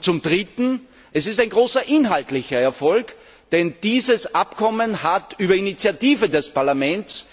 Zum Dritten Es ist ein großer inhaltlicher Erfolg, denn dieses Abkommen hat auf Initiative des Parlaments